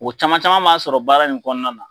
O caman caman b'an sɔrɔ baara in kɔnɔna na.